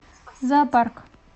зоопарк